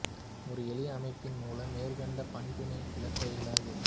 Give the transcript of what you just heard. ஒரு எளிய அமைப்பின் மூலம் மேற்கண்ட பண்பினை விளக்க இயலாது